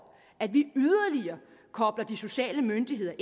at vi yderligere kobler de sociale myndigheder